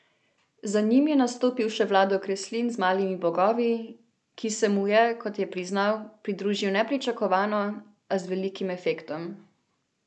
Za njim je nastopil še Vlado Kreslin z Malimi bogovi, ki se mu je, kot je priznal, pridružil nepričakovano, a z velikim efektom.